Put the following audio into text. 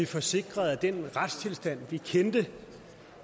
få sikret at den retstilstand vi kendte